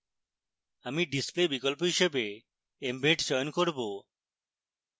আমি display বিকল্প হিসেবে embed চয়ন করব